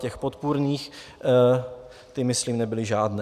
Těch podpůrných - ty myslím nebyly žádné.